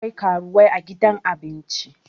akwai karuwai a gidan abinci